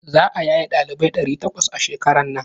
Za a yaye ɗalibai ɗari takwas a shekaran nan.